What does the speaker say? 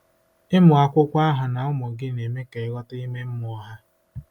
Ịmụ akwụkwọ ahụ na ụmụ gị na-eme ka “ịghọta ime mmụọ” ha.